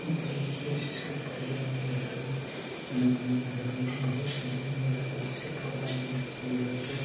मतलब कोई चीज़ के प्रोग्राम रहे। नया नया घर बनलै बहुत आदमी अएले है। कोई चीज़ के प्रोग्राम ।